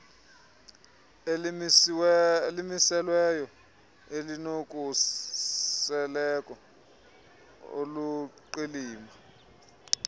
elimiselweyo elinokhuseleko oluluqilima